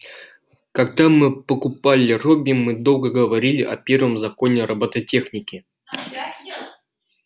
когда мы покупали робби мы долго говорили о первом законе робототехники